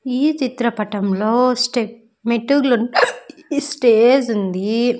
ఈ చిత్రపటంలో స్టెప్ మెట్టుగులు ఈ స్టేజ్ ఉంది.